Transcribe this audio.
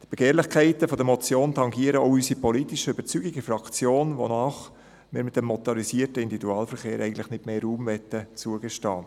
Die Begehrlichkeiten dieser Motion tangieren auch die politischen Überzeugungen in unserer Fraktion, wonach wir dem motorisierten Individualverkehr eigentlich nicht mehr Raum zugestehen möchten.